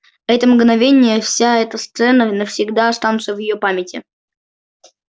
это мгновение вся эта сцена навсегда останутся в её памяти